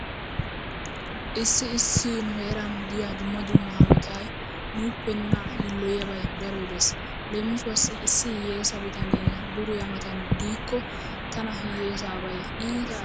Issi issi nu heeran diya dumma dumma hanotay nuuppe nuna yiilloyiyabay darobay dees. Leemisuwawu issi hiyyeesa bitanee duriya matan diikko tana hiyyeesaabay iita azzanttees.